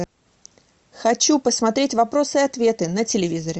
хочу посмотреть вопросы и ответы на телевизоре